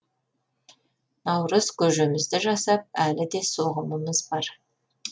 наурыз көжемізді жасап әлі де соғымымыз бар